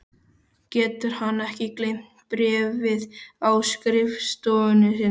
Getur hann ekki geymt bréfið á skrifstofunni sinni?